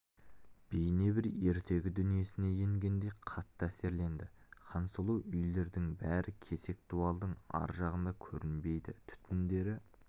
бейне бір ертегі дүниесіне енгендей қатты әсерленді хансұлу үйлердің бәрі кесек дуалдың ар жағында көрінбейді түтіндері